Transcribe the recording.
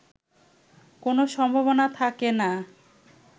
কোন সম্ভাবনা থাকেনা